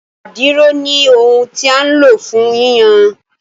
Àdìrò ní ohùn tí a lo fún yíyan